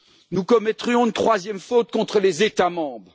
Nous commettrions une troisième faute contre les États membres.